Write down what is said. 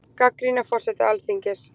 Gagnrýna forseta Alþingis